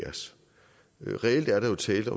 sidde